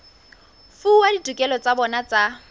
fuwa ditokelo tsa bona tsa